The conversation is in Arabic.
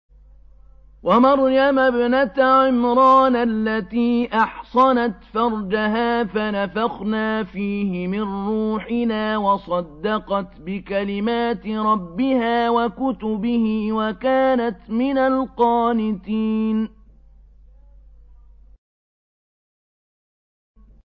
وَمَرْيَمَ ابْنَتَ عِمْرَانَ الَّتِي أَحْصَنَتْ فَرْجَهَا فَنَفَخْنَا فِيهِ مِن رُّوحِنَا وَصَدَّقَتْ بِكَلِمَاتِ رَبِّهَا وَكُتُبِهِ وَكَانَتْ مِنَ الْقَانِتِينَ